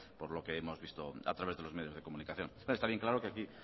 por lo que hemos visto a través de los medios de comunicación está bien claro que aquí